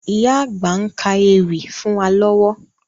Ìyá àgbà ń ka ewì fún wa lọ́wọ́